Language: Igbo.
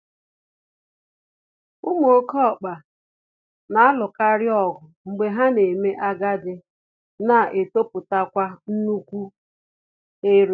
Ụmụ oké ọkpa na-alụkarịọgụ mgbe ha na-eme agadi na-etopụtakwa nnukwu ere